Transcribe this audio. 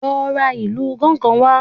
Lọ ra ìlù gángan wá